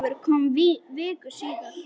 Ólafur kom viku síðar.